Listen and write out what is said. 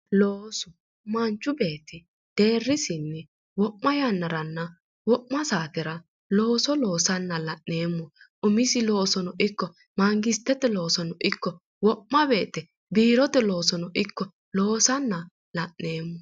Loosu ,manchu beetti deerisinni wo'ma yannaranna wo'ma saatera looso loossanna la'neemmo umisi loosono ikko magisitete loosono ikko wo'ma woyte biirote loosono ikko loosanna la'neemmo.